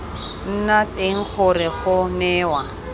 nna teng gore go newa